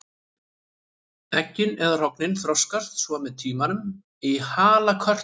Eggin eða hrognin þroskast svo með tímanum í halakörtur.